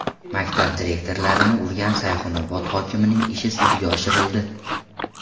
Maktab direktorlarini urgan Sayxunobod hokimining ishi sudga oshirildi .